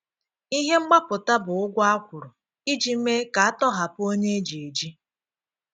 Ihe mgbapụta bụ ụ̀gwọ a kwụrụ íji mee ka a tọ́hapụ̀ onye e ji eji.